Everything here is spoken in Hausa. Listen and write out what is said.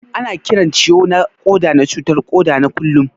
Ana Kiran ciwo na Koda na cutar koda na kullum.